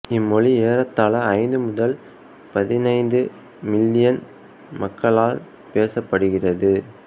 இம்மொழி ஏறத்தாழ ஐந்து முதல் பதினைந்து மில்லியன் மக்களால் பேசப்படுகிறது